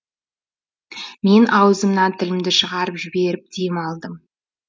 мен аузымнан тілімді шығарып жіберіп дем алмадым